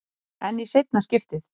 En í seinna skiptið?